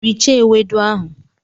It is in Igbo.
Richaa ewedu ahụ!